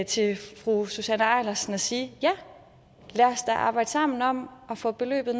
til fru susanne eilersen og sige ja lad os da arbejde sammen om at få beløbet